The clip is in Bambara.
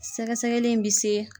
Sɛgɛsɛgɛli in bɛ se.